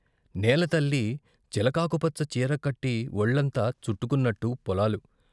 నేల తల్లి చిలకాకుపచ్చ చీర కట్టి ఒళ్లంతా చుట్టుకున్నట్టు పొలాలు.